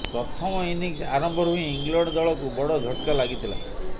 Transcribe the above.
ପ୍ରଥମ ଇନିଂସ ଆରମ୍ଭରୁ ହିଁ ଇଂଲଣ୍ଡ ଦଳକୁ ବଡ଼ ଝଟକା ଲାଗିଥିଲା